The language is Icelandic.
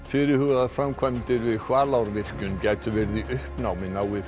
fyrirhugaðar framkvæmdir við Hvalárvirkjun gætu verið í uppnámi nái